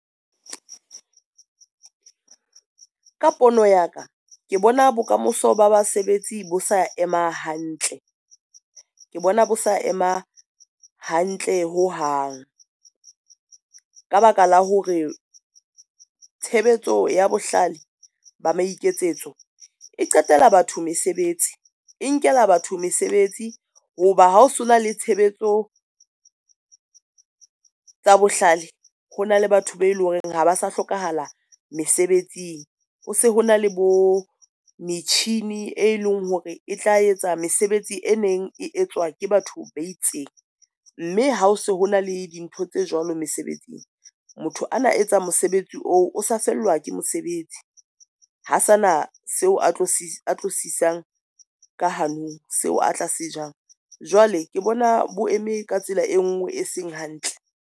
Ka pono ya ka ke bona bokamoso ba basebetsi bo sa ema hantle. Ke bona bo sa ema hantle ho hang, ka ba ka la hore tshebetso ya bohlale ba maikemisetso e qetela batho mesebetsi e nkela batho mesebetsi ho ba ha o se na le tshebetso tsa bohlale. Hona le batho ba eleng hore ha ba sa hlokahala mesebetsing, ho se hona le bo metjhini e leng hore e tla etsa mesebetsi e neng e etswa ke batho ba itseng, mme ha se hona le dintho tse jwalo mesebetsing, motho ana etsa mosebetsi oo o sa fellwa ke mosebetsi. Ha sa na seo a tlo sisang ka hanong seo a tlase jang jwale ke bona bo eme ka tsela e ngwe e seng hantle.